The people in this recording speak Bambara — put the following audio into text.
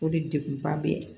O de deguba bɛ yen